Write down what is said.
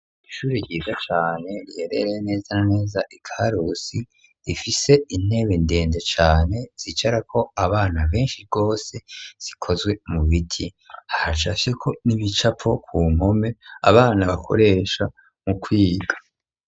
Ishuri ryiza cane ryerere neza naneza ikarusi rifise intebe ndenge cane zicara ko abana benshi rwose zikozwe mu biti ahasafyeko nibicapo ku nkome abana bakoresha mu kwiga.